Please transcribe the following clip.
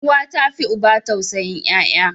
Uwa ta fi uba tausayin yaya.